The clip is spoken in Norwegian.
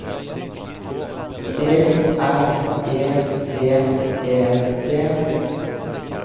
D R E V E T